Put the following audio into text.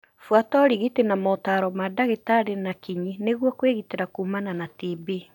Buata ũrigiti na motari ma ndagĩtarĩ na kinyi nĩguo kwĩgitĩra kumana na TB.